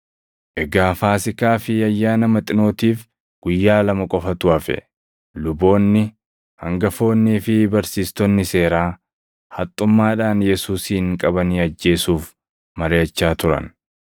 Egaa Faasiikaa fi Ayyaana Maxinootiif guyyaa lama qofatu hafe; luboonni hangafoonnii fi barsiistonni seeraa haxxummaadhaan Yesuusin qabanii ajjeesuuf mariʼachaa turan.